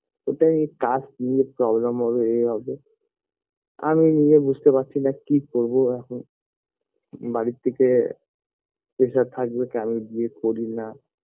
ওটাই cast নিয়ে problem হবে এ হবে আমি নিজে বুঝতে পারছি না কি করবো এখন বাড়ি থেকে pressure থাকবে কে আমি বিয়ে করি না